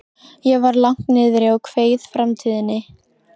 Ég var langt niðri og kveið framtíðinni.